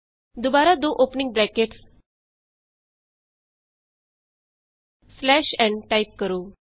ਦੁਬਾਰਾ ਦੋ opening brackets n type ਕਰੋ